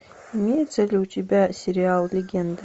имеется ли у тебя сериал легенда